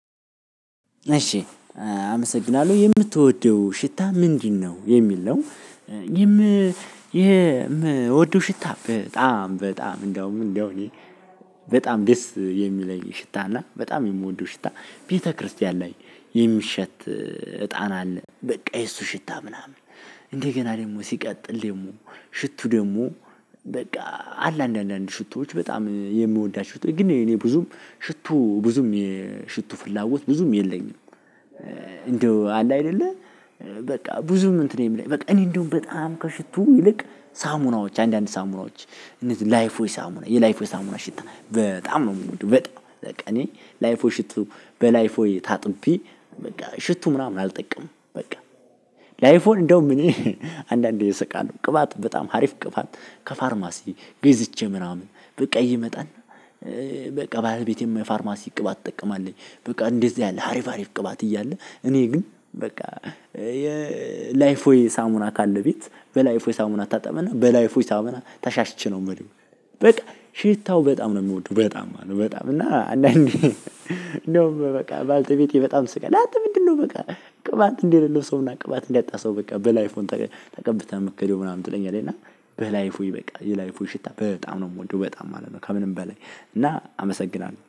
እሺ አመሰግናለሁ የምትወደው ሽታ ምንድነው የሚል ነው? ይም የምወደው ሽታ በጣም በጣም እንደውም እንደው እኔ በጣም ደስ የሚለኝ ሽታ እና በጣም የምወደው ሽታ ቤተክርስቲያን ላይ የሚሸት እጣን አለ በቃ የእሱ ሽታ ምናምን እንደ ገና ደግሞ ሲቀጥል ደግሞ ሽቱ ደግሞ በቃ አለ አንዳንድ ሽቶዎች በጣም የምወዳቸው ግን እኔ ብዙም ሽቶ ብዙም ሽቶ ፍላጎት ብዙም የለኝም። እንደው አለ አይደለ በቃ ብዙም እንትን የሚለኝ በቃ እኔ እንደውም በጣም ከሽቱ ይልቅ ሳሙናዎች አንዳንድ ሳሙናዎች እነዚህ ላይፍ ቦይ ሳሙና የላይፍ ቦይ ሳሙና ሽታ በጣም ነው የምወደው። በጣም እኔ ላይፍ ባይ ሽቱ በላይፍ ቦይ ታጥቤ በቃ ሽቱ ምናምን አልጠቀምም። በቃ ለአይፍ ቦይ እንደው እኔ አንዳንዴ እእስቃለሁ ቅባት በጣም ሀሪፍ ቅባጥ ከፋርማሲ ገዝቼ ምናምን በቃ እየመጣን በቃ ባለቤቴም ፋርማሲ ቅባት ትጠቀማለች። በቃ እንደዚህ አለ አሪፍ አሪፍ ቅባት እያለ እኔ ግን በቃ የ ላይፍ ቦይ ሳሙና ካለ ቤት በላይፍ ቦይ ሳሙና እታጠብና በላይፉ የሳሙና ተሻሽቼ ነው የምለው። በቃ ሽታው በጣም ነው የምወደው በጣም ነው በጣም እና አንዳንዴ እንደውም በቃ ባለቤቴ በጣም ትስቃለች። አንተ ምንድነው? በቃ ቅባት እንደሌለው ሰውና ቅባት እንዳጣ ሰው በቃ በላይፍ ቦይ ተቀብተህ እምትሄደው ምናምን ትለኛለች። እና በላይፍ ቦይ በቃ የላይፍ ቦይ ሽታ በጣም ነው የምወደው በጣም ማለት ነው። ከምንም በላይ እና አመሰግናለሁ